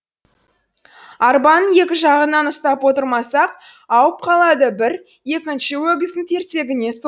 арбаның екі жағынан ұстап отырмасақ ауып қалады бір екінші өгіздің тірсегіне